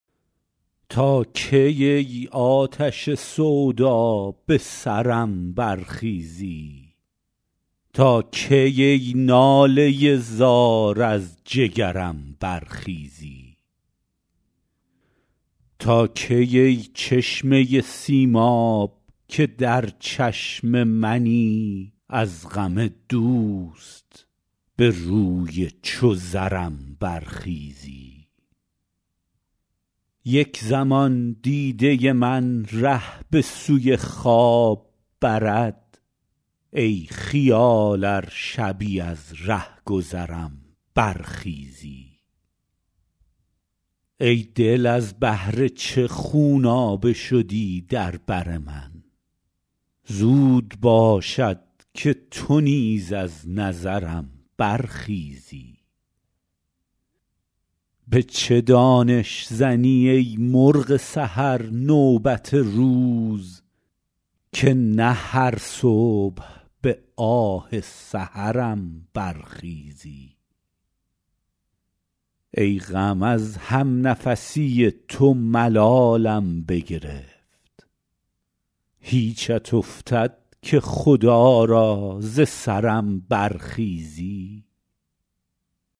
تا کی ای آتش سودا به سرم برخیزی تا کی ای ناله زار از جگرم برخیزی تا کی ای چشمه سیماب که در چشم منی از غم دوست به روی چو زرم برخیزی یک زمان دیده من ره به سوی خواب برد ای خیال ار شبی از رهگذرم برخیزی ای دل از بهر چه خونابه شدی در بر من زود باشد که تو نیز از نظرم برخیزی به چه دانش زنی ای مرغ سحر نوبت روز که نه هر صبح به آه سحرم برخیزی ای غم از همنفسی تو ملالم بگرفت هیچت افتد که خدا را ز سرم برخیزی